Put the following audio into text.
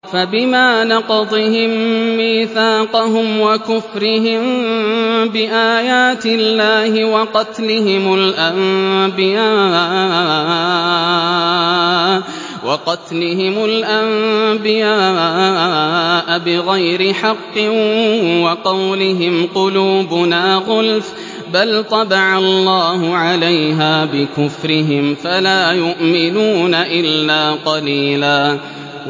فَبِمَا نَقْضِهِم مِّيثَاقَهُمْ وَكُفْرِهِم بِآيَاتِ اللَّهِ وَقَتْلِهِمُ الْأَنبِيَاءَ بِغَيْرِ حَقٍّ وَقَوْلِهِمْ قُلُوبُنَا غُلْفٌ ۚ بَلْ طَبَعَ اللَّهُ عَلَيْهَا بِكُفْرِهِمْ فَلَا يُؤْمِنُونَ إِلَّا قَلِيلًا